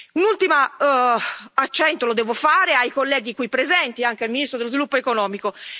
Un ultimo accento lo devo fare ai colleghi qui presenti, anche al ministro dello Sviluppo economico.